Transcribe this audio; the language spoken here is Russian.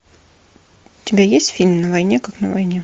у тебя есть фильм на войне как на войне